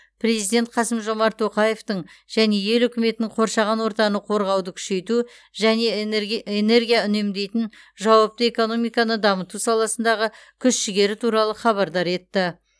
президент қасым жомарт тоқаевтың және ел үкіметінің қоршаған ортаны қорғауды күшейту және энерге энергия үнемдейтін жауапты экономиканы дамыту саласындағы күш жігері туралы хабардар етті